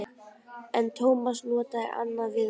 En Tómas notaði annað viðmót.